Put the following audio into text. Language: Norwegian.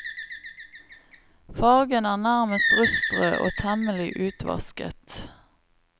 Fargen er nærmest rustrød og temmelig utvasket.